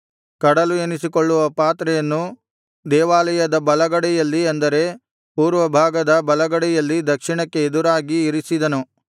ಕಡಲು ಎನಿಸಿಕೊಳ್ಳುವ ಪಾತ್ರೆಯನ್ನು ದೇವಾಲಯದ ಬಲಗಡೆಯಲ್ಲಿ ಅಂದರೆ ಪೂರ್ವಭಾಗದ ಬಲಗಡೆಯಲ್ಲಿ ದಕ್ಷಿಣಕ್ಕೆ ಎದುರಾಗಿ ಇರಿಸಿದನು